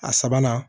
A sabanan